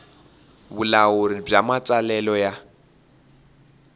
vulawuri bya matsalelo ya